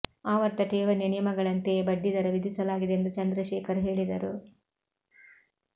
ಆವರ್ತ ಠೇವಣಿಯ ನಿಯಮಗಳಂತೆಯೇ ಬಡ್ಡಿ ದರ ವಿಧಿಸಲಾಗಿದೆ ಎಂದು ಚಂದ್ರಶೇಖರ್ ಹೇಳಿದರು